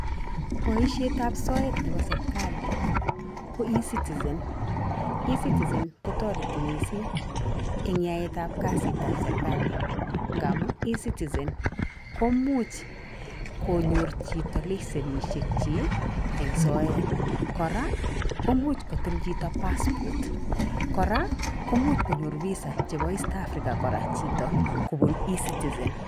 Boishetab soeet nebo serikali ko e-citizen. e-citizen kotareti missing eng yaetab kasitab serkali ngamun e-citizen komuch konyor chito lesenishek chik eng' soeet. Kora komuch koltlchito passport kora komuch konyor Visa chebo East Africa kora kobun e-citizen.